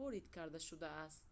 ворид карда шудааст